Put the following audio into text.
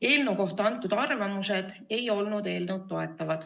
Eelnõu kohta antud arvamused ei toetanud seda.